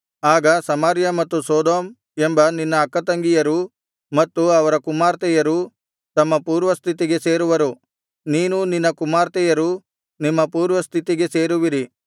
ಆಗ ಸಮಾರ್ಯ ಮತ್ತು ಸೊದೋಮ್ ಎಂಬ ನಿನ್ನ ಅಕ್ಕತಂಗಿಯರೂ ಮತ್ತು ಅವರ ಕುಮಾರ್ತೆಯರೂ ತಮ್ಮ ಪೂರ್ವಸ್ಥಿತಿಗೆ ಸೇರುವರು ನೀನೂ ನಿನ್ನ ಕುಮಾರ್ತೆಯರೂ ನಿಮ್ಮ ಪೂರ್ವಸ್ಥಿತಿಗೆ ಸೇರುವಿರಿ